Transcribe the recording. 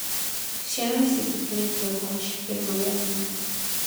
Ciana niciĩtĩkĩrĩtio kũhaica kĩrĩma gĩa Kenya